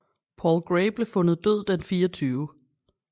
Paul Gray blev fundet død den 24